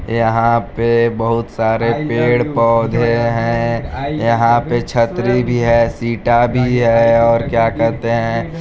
यहाँ पे बहुत सारे पेड़-पौधे है यहाँ पे छतरी भी है शीटा भी है और क्या कहते है।